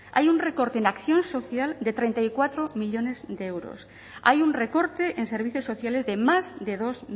hay un recorte en acción social de treinta y cuatro millónes de euros hay un recorte en servicios sociales de más de dos